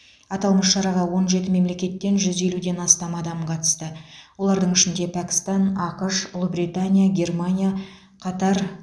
аталмыш шараға он жеті мемлекеттен жүз елуден астам адам қатысты олардың ішінде пәкістан ақш ұлыбритания германия катар